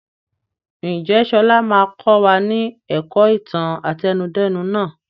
Ǹjẹ́ sọlá máa kọ wá ní ẹ̀kọ́ ìtàn àtẹnudẹ́nu nàá?